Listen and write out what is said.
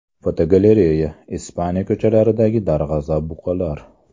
Fotogalereya: Ispaniya ko‘chalaridagi darg‘azab buqalar.